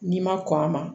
N'i ma kɔn a ma